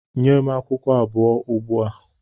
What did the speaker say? Nye m akwụkwọ abụọ ugbua!